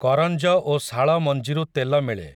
କରଞ୍ଜ ଓ ଶାଳ ମଞ୍ଜିରୁ ତେଲ ମିଳେ ।